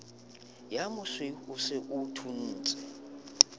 omosweu o se o thuntse